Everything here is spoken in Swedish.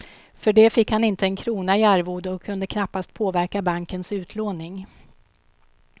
För det fick han inte en krona i arvode och kunde knappast påverka bankens utlåning.